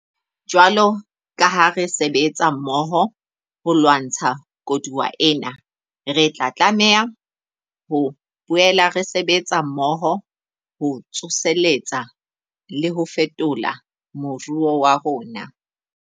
Jwalo ka ha re sebetsa mmoho ho lwantsha koduwa ena, re tlameha ho boela re sebetsa mmoho ho tsoseletsa le ho fetola moruo wa rona.